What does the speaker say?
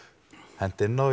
hent inn á